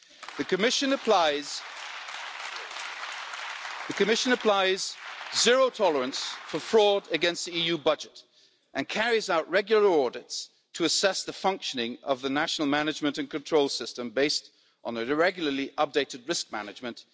The Commission shows zero tolerance towards fraud against the EU budget and carries out regular audits to assess the functioning of the national management and control system, based on regularly updated risk management.